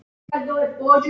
Ég drekk ekki, sagði hún.